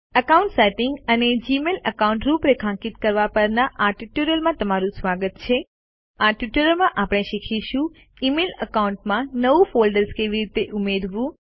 account settings અને Gmail account રૂપરેખાંકિત કરવા પરના ટ્યુટોરીયલમાં તમારું સ્વાગત છે આ ટ્યુટોરીયલ માં આપણે શીખીશું ઇમેઇલ એકાઉન્ટમાં નવું ફોલ્ડર્સ કેવી રીતે ઉમેરવું